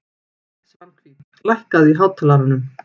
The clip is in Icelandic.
Svanhvít, lækkaðu í hátalaranum.